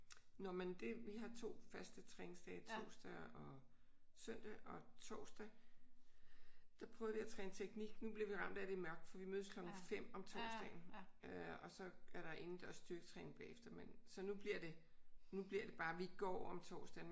Nå men det vi har 2 faste træningsdage torsdag og søndag. Og torsdag der prøver vi at træne teknik. Nu bliver vi ramt af at det er mørkt for vi mødes klokken 5 om torsdagen øh og så er der indendørs styrketræning bagefter men så nu bliver det nu bliver bare det vi går om torsdagen